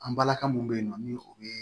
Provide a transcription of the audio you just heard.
An balaka mun bɛ yen nɔ ni o ye